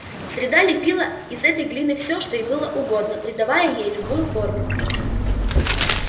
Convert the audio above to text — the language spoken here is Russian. среда лепила из этой глины всё что ей было угодно придавая ей любую форму